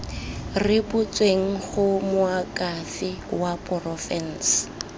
rebotsweng go moakhaefe wa porofense